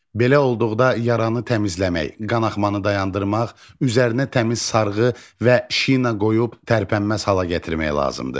Belə olduqda yaranı təmizləmək, qanaxmanı dayandırmaq, üzərinə təmiz sarğı və şina qoyub tərpənməz hala gətirmək lazımdır.